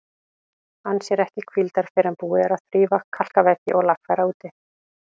Ann sér ekki hvíldar fyrr en búið er að þrífa, kalka veggi og lagfæra úti.